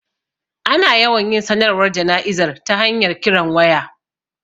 Ana yawan yin sanarwar jana'izar ta hanyar kiran waya